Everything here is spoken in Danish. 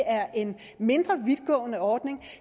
er en mindre vidtgående ordning